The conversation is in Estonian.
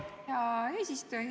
Hea eesistuja!